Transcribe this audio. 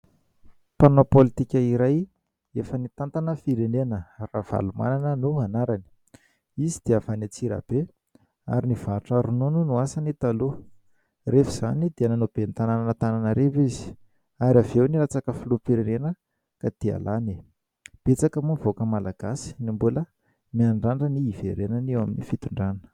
Mpanao politika iray efa nitantana firenena, RAVALOMANANA no anarany. Izy dia avy any Antsirabe ary nivarotra ronono no asany taloha. Rehefa izany dia nanao ben'ny tananan'Antananarivo izy ary avy eo nilatsaka filoham-pirenena ka dia lany. Betsaka moa ny vahoaka malagasy no mbola miandrandra ny hiverenany eo amin'ny fitondrana.